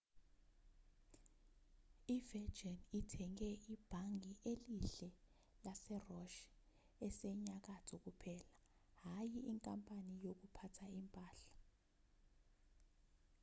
i-virgin ithenge ibhange elihle' lase-roch esenyakatho kuphela hhayi inkampani yokuphatha impahla